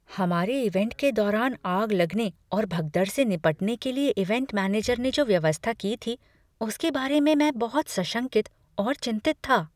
हमारे इवैंट के दौरान आग लगने और भगदड़ से निपटने के लिए इवैंट मैनेजर ने जो व्यवस्था की थी उसके बारे में बहुत सशंकित और चिंतित था।